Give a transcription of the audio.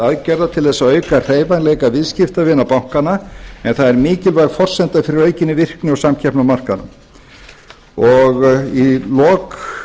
aðgerða til þess að auka hreyfanleika viðskiptavina bankanna en það er mikilvæg forsenda fyrir aukinni virkni og samkeppni á markaðnum í lok